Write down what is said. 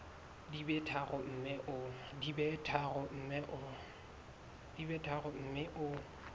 di be tharo mme o